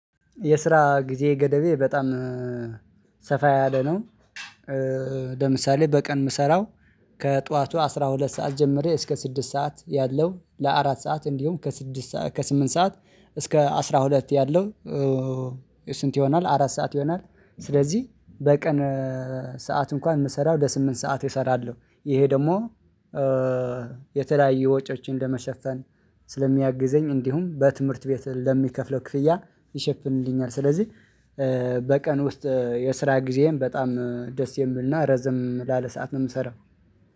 የስራ ጊዜ ገደቤ በጣም ሰፋ ያለ ነው። ለምሳሌ በቀን የምሰራው ከጧቱ አስራ ሁለት ሰዓት ጀምሬ እስከ ስድስት ሰዓት ያለው ለአራት ሰዓት እንዲሁም ከስድስት ከስምንት ሰዓት እስከ አስራ ሁለት ያለው። ስንት ይሆናል አራት ሰዓት ይሆናል። ስለዚህ በቀን ሰዓት እንኳን የምሰራው ወደስምንት ሰዓት እሰራለሁ። ይሄ ደግሞ የተለያየ ወጪዎችን እንደመሸፈን ስለሚያግዘኝ እንዲሁም በትምህርት ቤት ለሚከፍለው ክፍያ ይሸፍንልኛል። ስለዚህ በቀን ውስጥ የስራ ጊዜህን በጣም ደስ የምልና ረዘም ላለ ሰዓት ነው የምሰራው።